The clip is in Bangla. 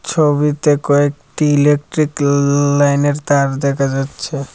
ছবিতে কয়েকটি ইলেকট্রিক লাইন এর তার দেখা যাচ্ছে।